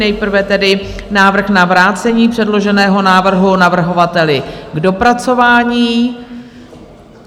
Nejprve tedy návrh na vrácení předloženého návrhu navrhovateli k dopracování.